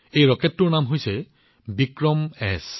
এই ৰকেটটোৰ নাম হৈছে বিক্ৰমএছ